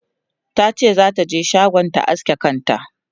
tace zata je shagon ta aske kanta